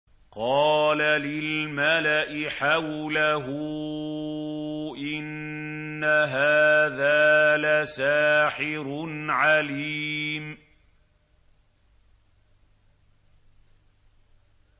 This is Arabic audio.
قَالَ لِلْمَلَإِ حَوْلَهُ إِنَّ هَٰذَا لَسَاحِرٌ عَلِيمٌ